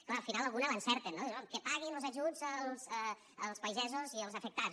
clar al final alguna l’encerten no diuen que paguin los ajuts als pagesos i als afectats